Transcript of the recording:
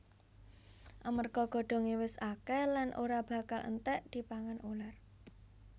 Amarga godhongé wis akèh lan ora bakal entèk dipangan uler